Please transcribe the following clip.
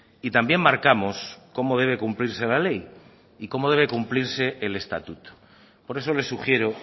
y también marcamos cómo debe cumplirse la ley y cómo debe cumplirse el estatuto por eso le sugiero